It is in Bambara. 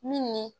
Min ni